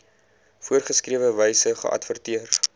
voorgeskrewe wyse geadverteer